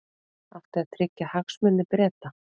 Átti að tryggja hagsmuni Breta